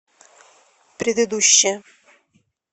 предыдущая